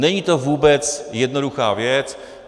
Není to vůbec jednoduchá věc.